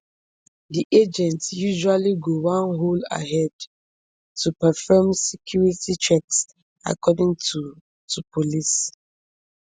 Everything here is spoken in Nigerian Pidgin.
di agents usually go one hole ahead to perform security checks according to to police